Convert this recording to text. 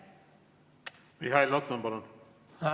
Mihhail Lotman, palun!